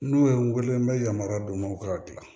N'o ye n wele n bɛ yamaruya don n ka gilan